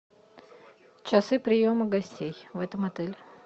часы приема гостей в этом отеле